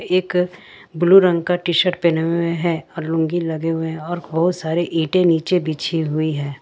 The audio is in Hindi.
एक ब्लू रंग का टी शर्ट पहने हुए हैं और लूंगी लगे हुए और बहुत सारे इंटे नीचे बिछी हुई हैं।